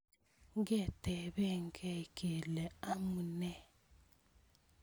Ngetebekei kele amune